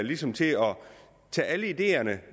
ligesom til at tage alle ideerne